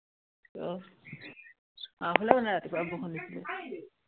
আহ আমাৰ ফালেও মানে ৰাতিপুৱা বৰষুণ দিছিলে